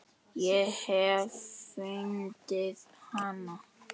Ég hef fundið hana!